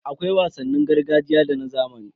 Akwai wasannin gargajiya da na zamani.